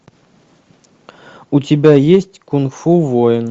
у тебя есть кунг фу воин